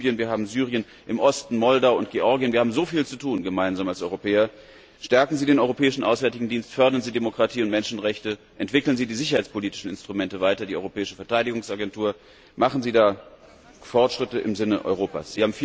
Wir haben Libyen, wir haben Syrien, im Osten Moldau und Georgien wir haben als Europäer gemeinsam so viel zu tun. Stärken Sie den Europäischen Auswärtigen Dienst, fördern Sie Demokratie und Menschenrechte, entwickeln Sie die sicherheitspolitischen Instrumente und die Europäische Verteidigungsagentur weiter. Machen Sie da Fortschritte im Sinne Europas!